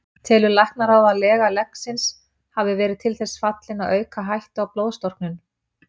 Telur læknaráð, að lega leggsins hafi verið til þess fallin að auka hættu á blóðstorknun?